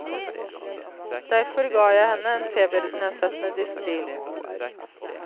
Derfor ga jeg henne en febernedsettende dispril.